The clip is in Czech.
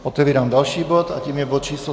Otevírám další bod a tím je bod číslo